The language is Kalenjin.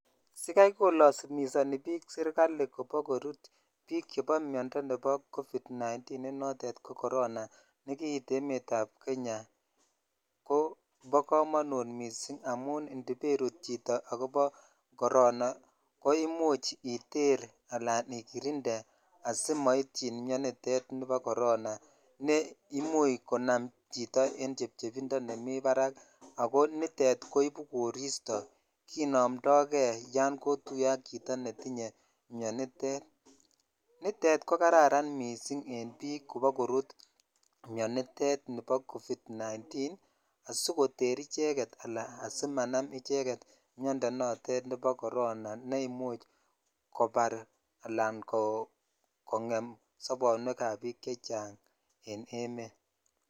Sikai kolazimisoni bik serikali kopokorut bik vhebo miondoo nebo covid -19 ne notete ko corona ne kit emet ab Kenya kobo komonut missing indamun indpairut chito akobo corona ko imuch iter ala ikitinde assimaityin maintain mionitet bo corona ne imuch konam chito en chebchenindo nemitenbarack ako nitet koibu joristo kinomdo kei yan kotunye ak chito netinye tet nitet ko kararan missing en bik kobokorut nibo covet-19 asikoter ichek ala asimanam icheng miondoo nebo corona ne kobar ala kongem sabowek ab bik chechang.